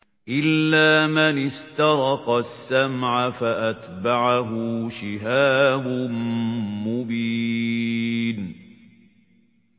إِلَّا مَنِ اسْتَرَقَ السَّمْعَ فَأَتْبَعَهُ شِهَابٌ مُّبِينٌ